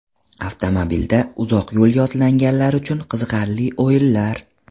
Avtomobilda uzoq yo‘lga otlanganlar uchun qiziqarli o‘yinlar.